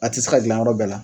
A ti se ka gilan yɔrɔ bɛɛ la